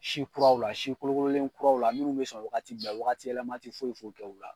Si kuraw la si kolo kololen kuraw la minnu bɛ sɔn wagati bɛɛ wagati yɛlɛma tɛ foyi foyi kɛ u la.